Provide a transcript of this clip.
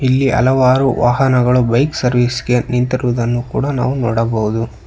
ಇಲ್ಲಿ ಹಲವಾರು ವಾಹನಗಳು ಬೈಕ್ ಸರ್ವಿಸ್ ಗೆ ನಿಂತಿರುವುದನ್ನು ಕೂಡ ನಾವು ನೋಡಬಹುದು.